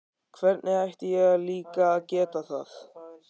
Hvernig ætti ég líka að geta það?